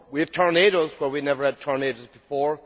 We have tornadoes where we never had tornadoes before.